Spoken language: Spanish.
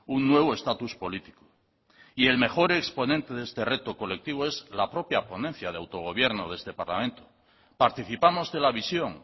un nuevo estatus político y el mejor exponente de este reto colectivo es la propia ponencia de autogobierno de este parlamento participamos de la visión